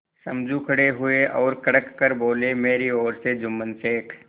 समझू खड़े हुए और कड़क कर बोलेमेरी ओर से जुम्मन शेख